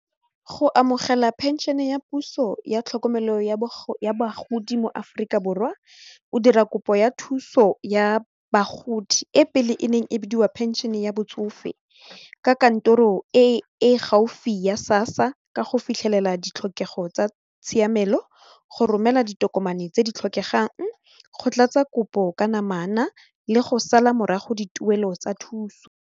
Go amogela pension ya puso ya tlhokomelo ya bagodi mo Aforika Borwa o dira kopo ya thuso ya bagodi e pele e neng e bidiwa phenšhene ya botsofe ka kantoro e gaufi ya SASSA ka go fitlhelela ditlhokego tsa tshiamelo go romela ditokomane tse di tlhokegang, go tlatsa kopo ka namana le go sala morago dituelo tsa thuso.